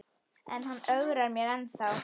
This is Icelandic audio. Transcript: En hann ögrar mér ennþá.